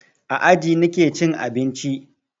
A aji nake cin abinci.